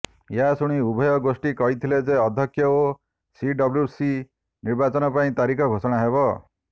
ଏହାଶୁଣି ଉଭୟ ଗୋଷ୍ଠୀ କହିଥିଲେ ଯେ ଅଧ୍ୟକ୍ଷ ଓ ସିଡବ୍ଲ୍ୟୁସି ନିର୍ବାଚନ ପାଇଁ ତାରିଖ ଘୋଷଣା ହେବ